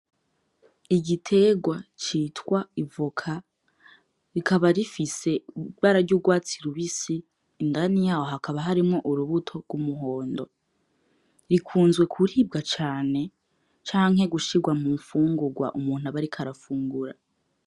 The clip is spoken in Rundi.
Igiterwa citwa ivoka rikaba rifise ibara ry’urwatsi rubisi, indani yaho hakaba harimwo urubuto rw'umuhondo, rikunzwe kuribwa cane canke gushirwa mu mfungurwa umuntu aba ariko arafungura.